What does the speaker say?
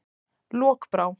Lokbrá